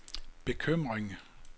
bekymring